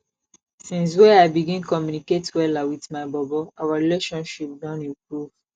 since wey i begin communicate wella wit my bobo our relationship don improve